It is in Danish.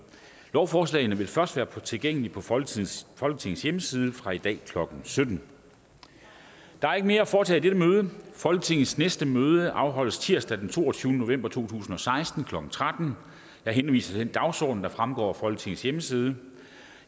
lovforslagene vil først være tilgængelige på folketingets folketingets hjemmeside fra i dag klokken sytten der er ikke mere at foretage i dette møde folketingets næste møde afholdes tirsdag den toogtyvende november to tusind og seksten klokken tretten jeg henviser til den dagsorden der fremgår af folketingets hjemmeside